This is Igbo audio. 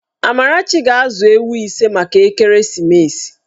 Amarachi ga-azụ ewu ise maka ekeresimesi.